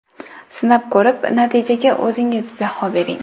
Sinab ko‘rib, natijaga o‘zingiz baho bering.